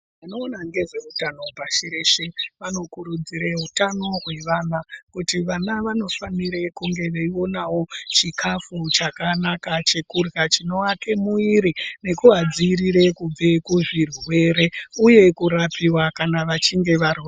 Vanoona ngezeutano pashi reshe vanokurudzire utano hwevana kuti vana vanofanire kunge veionawo chikafu chakanaka chekurya chinovake muwiri nekuvadzivirire kubve kuzvirwere uye kurapiwa kana vachinge varwara.